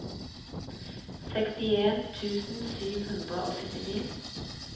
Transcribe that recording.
sekstien tusen sju hundre og syttini